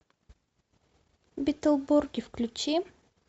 битлборги включи